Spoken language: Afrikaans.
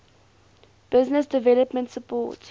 business development support